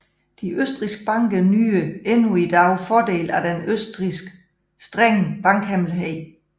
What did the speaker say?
De østrigske banker nyder endnu i dag fordel af den i Østrig strenge bankhemmelighed